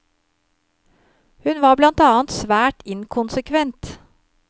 Hun var blant annet svært inkonsekvent.